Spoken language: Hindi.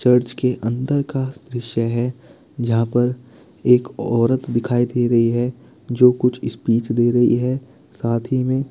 चर्च के अन्दर का दृश्य है जहाँ पर एक औरत दिखाई दे रही है जो कुछ स्पीच दे रही है साथ ही में --